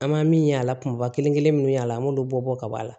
An ma min y'a la kumaba kelen kelen minnu y'a la an b'olu bɔ ka b'a la